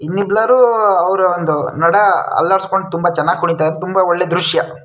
ಇಲ್ಲಿ ಎಲ್ಲರೂ ಅವ್ರ್ ಒಂದು ನಡ ಅಲ್ಲಾಡಿಸ್ಕೊಂಡು ತುಂಬಾ ಚೆನ್ನಾಗಿ ಕುಣೀತಾರೆ ತುಂಬಾ ಒಳ್ಳೆ ದ್ರಶ್ಯ.